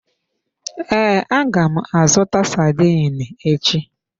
Ee, aga m azụta sardine echi.